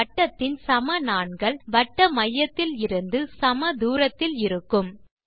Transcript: ஒரு வட்டத்தின் சம நாண்கள் வட்ட மையத்தில் இருந்து சம தூரத்தில் இருக்கும்